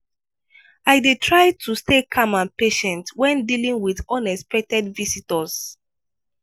i dey try to stay calm and patient when dealing with unexpected visitors.